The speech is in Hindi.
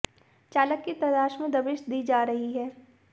चालक की तलाश में दबिश दी जा रही है